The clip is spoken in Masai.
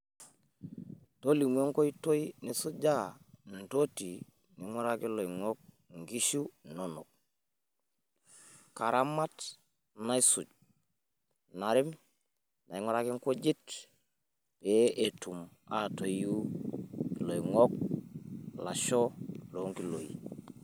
karamat naisuj narem nang'uraki inkujit pee etum aatoyu iloing'ok, ilasho loo ngiloi.